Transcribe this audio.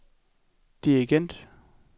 dirigent